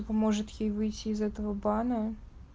может ей выйти из этого бана